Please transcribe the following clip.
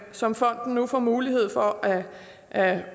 som fonden nu får mulighed for at